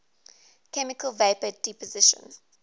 chemical vapor deposition